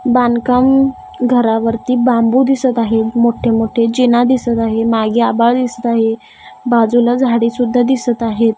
बांधकाम घरावरती बांबू दिसत आहे मोठे मोठे जिना दिसत आहे मागे आभाळ दिसत आहे बाजूला झाडी सुद्धा दिसत आहेत.